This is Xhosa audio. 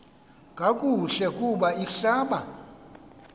kakuhle kub ihlab